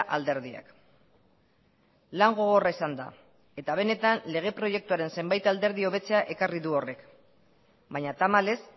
alderdiak lan gogorra izan da eta benetan lege proiektuaren zenbait alderdi hobetzea ekarri du horrek baina tamalez